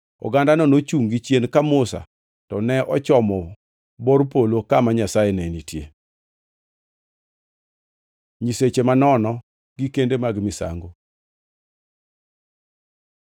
Ogandano nochungʼ gichien ka Musa to ne ochomo bor polo kama Nyasaye ne nitie. Nyiseche manono gi kende mag misango